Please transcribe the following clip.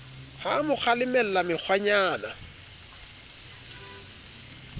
ha a mo kgalemella mekgwanyana